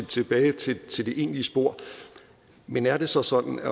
tilbage til til det egentlige spor men er det så sådan at